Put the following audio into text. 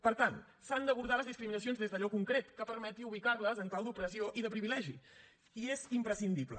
per tant s’han d’abordar les discriminacions des d’allò concret que permeti ubicar les en clau d’opressió i de privilegi i és imprescindible